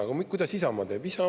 Aga kuidas Isamaa teeb?